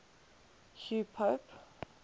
hugh pope